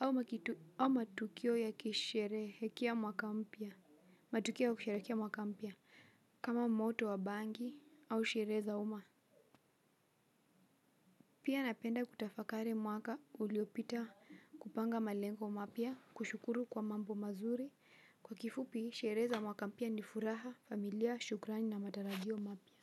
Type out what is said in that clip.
ama kitu au matukio ya kusherehekea mwaka mpya, matukio ya kusherehekea mwaka mpya kama moto wa bangi au sherehe za umma pia napenda kutafakari mwaka uliopita kupanga malengo mapya, kushukuru kwa mambo mazuri, kwa kifupi, sherehe za mwaka mpya ni furaha, familia, shukrani na matarajio mapya.